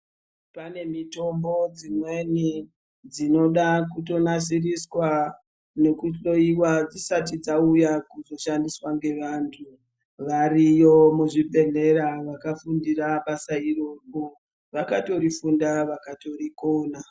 Pane mitombo dzimweni dzinoda kutonasiriswa nekuhlowiwa dzisati dzauya kuzoshandiswa ngevantu, variyo muzvibhedhlera vakafundira basa iroro, vakatorifunda vakatorikona.